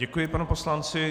Děkuji panu poslanci.